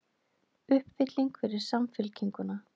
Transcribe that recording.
Uppfylling fyrir Samfylkinguna